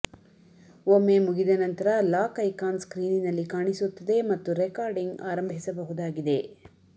ಒಮ್ಮೆ ಮುಗಿದ ನಂತರ ಲಾಕ್ ಐಕಾನ್ ಸ್ಕ್ರೀನಿನಲ್ಲಿ ಕಾಣಿಸುತ್ತದೆ ಮತ್ತು ರೆಕಾರ್ಡಿಂಗ್ ಆರಂಭಿಸಬಹುದಾಗಿದೆ